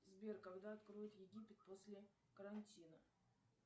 сбер когда откроют египет после карантина